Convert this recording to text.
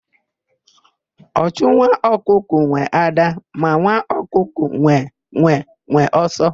Ọchụ nwa ọkụkọ nwe ádá, ma nwa ọkụkọ nwe nwenwe ọsọ.